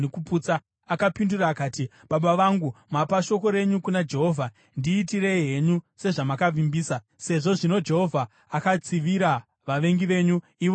Akapindura akati, “Baba vangu, mapa shoko renyu kuna Jehovha. Ndiitirei henyu sezvamakavimbisa, sezvo zvino Jehovha akatsivira vavengi venyu, ivo vaAmoni.